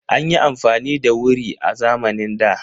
An yi afamani da wuri a zamanin da.